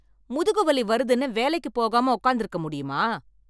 முதுகு வலி வருதுன்னு வேலைக்கு போகாமல் உட்கார்ந்து இருக்க முடியுமா